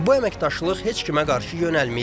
Bu əməkdaşlıq heç kimə qarşı yönəlməyib.